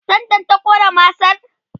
tendan ta Ƙona masar?